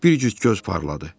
Bir cüt göz parladı.